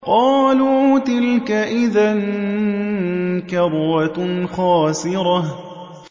قَالُوا تِلْكَ إِذًا كَرَّةٌ خَاسِرَةٌ